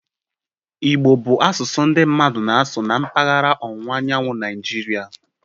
Igbo bụ asụsụ ndị mmadụ na-asụ na mpaghara ọwụwa anyanwụ Naijirial